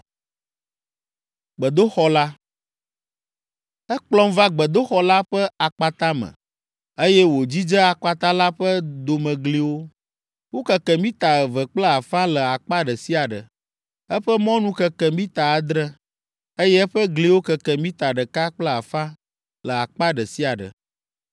Ekplɔm va gbedoxɔ la ƒe akpata me, eye wòdzidze akpata la ƒe domegliwo; wokeke mita eve kple afã le akpa ɖe sia ɖe. Eƒe mɔnu keke mita adre, eye eƒe gliwo keke mita ɖeka kple afã le akpa ɖe sia ɖe.